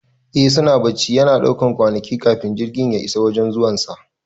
Eh suna bacci, yana ɗaukan kwanaki kafin jirgin ya isa wajan zuwan sa